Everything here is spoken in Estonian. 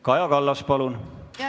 Kaja Kallas, palun!